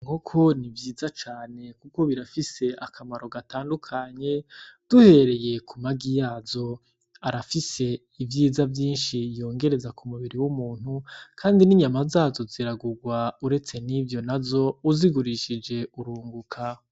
Nkoko ni vyiza cane, kuko birafise akamaro gatandukanye duhereye ku magi yazo arafise ivyiza vyinshi yongereza ku mubiri w'umuntu, kandi n'inyama zazo ziragurwa uretse n'ivyo na zo uzigurishije urunguka.